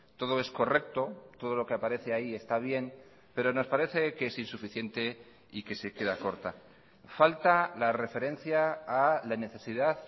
todo es correcto todo lo que aparece ahí está bien pero nos parece que es insuficiente y que se queda corta falta la referencia a la necesidad